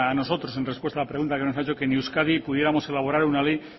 nosotros en respuesta a la pregunta que nos ha hecho que en euskadi pudiéramos elaborar una ley